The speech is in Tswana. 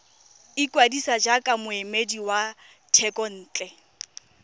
ikwadisa jaaka moemedi wa thekontle